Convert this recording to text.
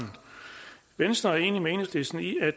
venstre er enig med enhedslisten i at